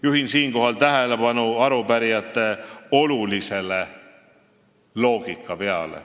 " Juhin siinkohal tähelepanu arupärijate olulisele loogikaveale.